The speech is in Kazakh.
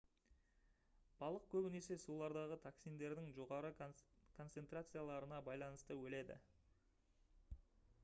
балық көбінесе сулардағы токсиндердің жоғары концентрацияларына байланысты өледі